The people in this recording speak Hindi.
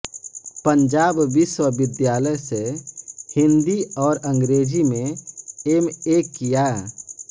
पंजाब विश्वविद्यालय से हिन्दी और अंग्रेज़ी में एम ए किया